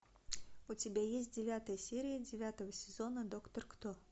у тебя есть девятая серия девятого сезона доктор кто